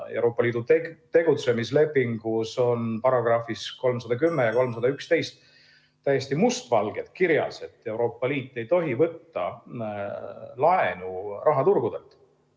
Euroopa Liidu tegutsemislepingu §‑des 310 ja 311 on täiesti must valgel kirjas, et Euroopa Liit ei tohi võtta laenu rahaturgudelt.